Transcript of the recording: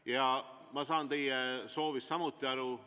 Ja ma saan teie soovist samuti aru.